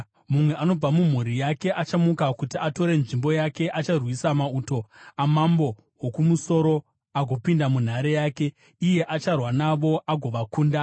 “Mumwe anobva mumhuri yake achamuka kuti atore nzvimbo yake. Acharwisa mauto amambo woKumusoro agopinda munhare yake; iye acharwa navo agovakunda.